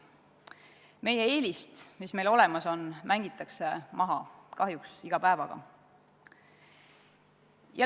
Meie eelist, mis meil olemas on, mängitakse kahjuks iga päev maha.